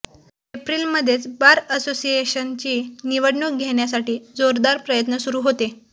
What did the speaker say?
एप्रिलमध्येच bar असोसिएशनची निवडणूक घेण्यासाठी जोरदार प्रयत्न सुरु होते